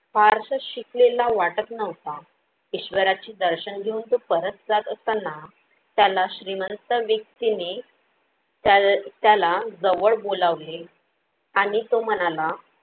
फारस शिकलेला वाटत नव्हता. ईश्वरा चे दर्शन घेऊन तो परत जात असताना त्याला श्रीमंत व्यक्तीने त्याल त्याला जवळ बोलावले आणि तो म्हणाला,